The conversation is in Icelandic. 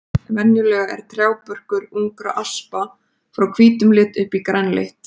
Venjulega er trjábörkur ungra aspa frá hvítum lit upp í grænleitt.